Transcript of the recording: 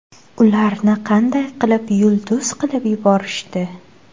Ularni qanday qilib yulduz qilib yuborishdi?